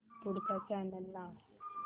पुढचा चॅनल लाव